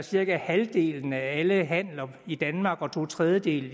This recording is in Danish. cirka halvdelen af alle handler i danmark og to tredjedele